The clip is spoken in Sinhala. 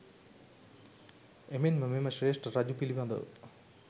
එමෙන්ම මෙම ශ්‍රේෂ්ට රජු පිලිබදව